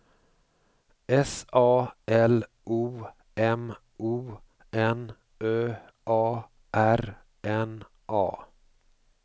S A L O M O N Ö A R N A